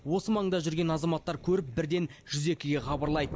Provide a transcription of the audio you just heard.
осы маңда жүрген азаматтар көріп бірден жүз екіге хабарлайды